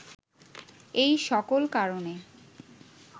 এই সকল কারণে